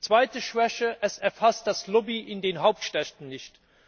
Zweite Schwäche Es erfasst die Lobby in den Hauptstädten nicht.